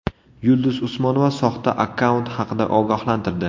Yulduz Usmonova soxta akkaunt haqida ogohlantirdi.